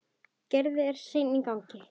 Gerður er sein í gang.